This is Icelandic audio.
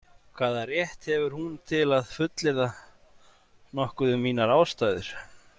Hvaða rétt hefur hún til að fullyrða nokkuð um mínar ástæður?